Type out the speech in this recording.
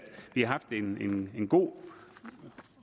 vi har haft en god